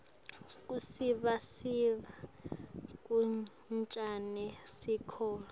kusivisisa kancane sihloko